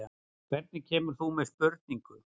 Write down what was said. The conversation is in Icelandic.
Hvernig kemur þú með spurningu?